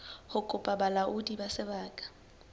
ho kopa bolaodi ba sebaka